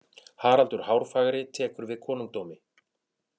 Haraldur Hárfagri tekur við konungdómi.